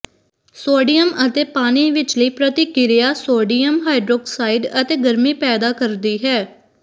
sodium ਅਤੇ ਪਾਣੀ ਵਿਚਲੀ ਪ੍ਰਤੀਕ੍ਰਿਆ ਸੋਡੀਅਮ ਹਾਈਡ੍ਰੋਕਸਾਈਡ ਅਤੇ ਗਰਮੀ ਪੈਦਾ ਕਰਦੀ ਹੈ